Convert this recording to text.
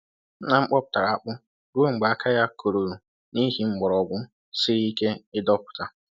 Nna m kpọpụtara akpụ ruo mgbe aka ya koruru n'ihi mgbọrọgwụ siri ike ịdọpụta.